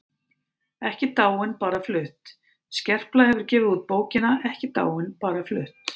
EKKI DÁIN BARA FLUTT Skerpla hefur gefið út bókina Ekki dáin- bara flutt.